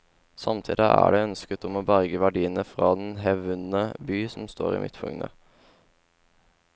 Samtidig er det ønsket om å berge verdiene fra den hevdvunne by som står i midtpunktet.